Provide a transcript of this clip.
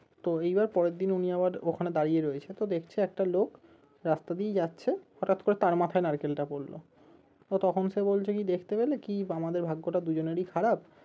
তো এইবার পরেরদিন উনি আবার ওখানে দাঁড়িয়ে রয়েছে তো দেখছে একটা লোক রাস্তা দিয়ে যাচ্ছে হঠাৎ করে তার মাথায় নারকেলটা পড়লো তো তখন সে বলছে কি দেখতে পেলে কি আমাদের ভাগ্যটা দুজনেরই খারাপ